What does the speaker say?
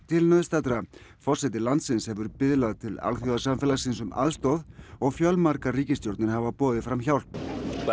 til nauðstaddra forseti landsins hefur biðlað til alþjóðasamfélagsins um aðstoð og fjölmargar ríkisstjórnir hafa boðið fram hjálp á